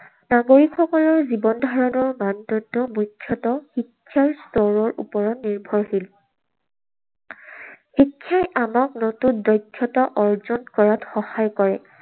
নাগৰিকসকলৰ জীৱনধাৰণৰ মানদণ্ড মুখ্যতঃ শিক্ষাৰ স্তৰৰ ওপৰত নিৰ্ভৰশীল। শিক্ষাই আমাক নতুন দক্ষতা অৰ্জন কৰাত সহায় কৰে।